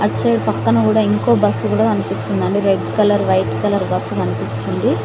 Side పక్కన కూడా ఇంకో బస్సు కూడా కనిపిస్తుందండి red colour white colour bus కనిపిస్తుంది.